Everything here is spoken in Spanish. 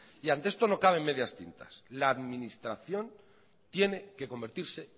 y ante esto no cabe medias tintas la administración tiene que convertirse